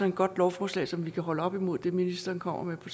et godt lovforslag som vi kan holde op imod det ministeren kommer med på